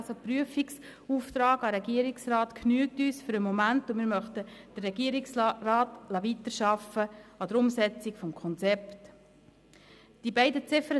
Ein Prüfungsauftrag an den Regierungsrat genügt uns im Moment, und wir möchten den Regierungsrat an der Umsetzung des Konzepts weiterarbeiten lassen.